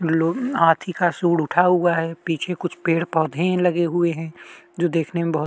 लो हाथी का सूंड उठा हुआ है पीछे कुछ पेड़ - पौधे लगे हुए है जो देखने में बहुत --